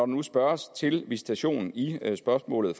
nu spørges til visitation i spørgsmålet